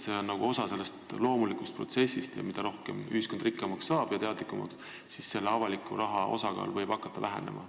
See on nagu osa loomulikust protsessist ning mida rikkamaks ja teadlikumaks ühiskond saab, seda rohkem võib avaliku raha osakaal hakata vähenema.